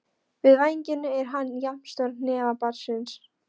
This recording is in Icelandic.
Við fæðingu er hann jafn stór hnefa barnsins.